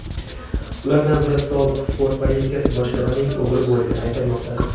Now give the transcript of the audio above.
Ulardan biri sobiq port politsiyasi boshlig‘ining o‘g‘li bo‘lgani aytilmoqda.